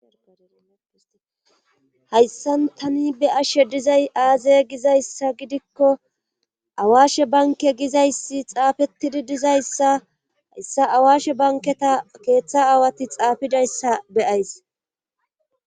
hayssan tani be'ashe dizay aaze gizayssa gidikko awaashe banke gizayssi xaafettidi dizayssa hayssa awaashe banketa keeththa aawati xaafidayssa beyays